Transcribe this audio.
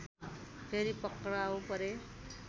फेरि पक्राउ परे